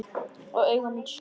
Og augu mín snúast.